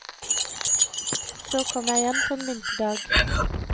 Så kom jeg hjem på en vinterdag.